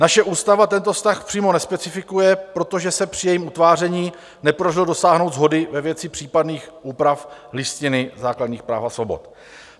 Naše ústava tento vztah přímo nespecifikuje, protože se při jejím utváření nepodařilo dosáhnout shody ve věci případných úprav Listiny základních práv a svobod.